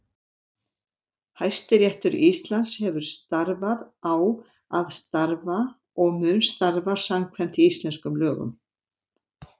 Hæstiréttur Íslands hefur starfað, á að starfa og mun starfa samkvæmt íslenskum lögum.